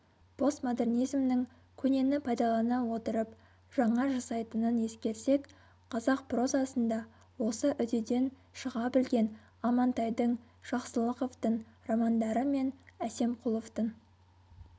постмодернизмнің көнені пайдалана отырып жаңа жасайтынын ескерсек қазақ прозасында осы үдеден шыға білген амантайдың жақсылықовтың романдары мен әсемқұловтың